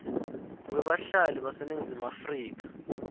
webahlali baseningizimu afrika